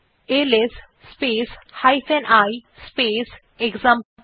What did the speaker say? LS space i space এক্সাম্পল5